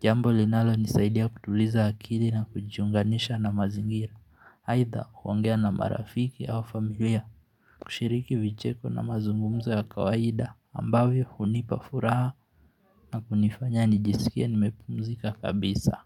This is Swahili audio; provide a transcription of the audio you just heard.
Jambo linalonisaidia kutuliza akili na kujiunganisha na mazingira Aidha huongea na marafiki au familia kushiriki vicheko na mazungumza ya kawaida ambavyo hunipa furaha na kunifanya nijisikie nimepumzika kabisa.